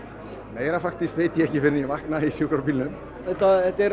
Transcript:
meira veit ég ekki fyrr en ég vakna í sjúkrabílnum þetta er